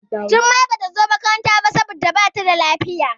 Jummai Bata zo makaranta ba saboda Bata da lafiya.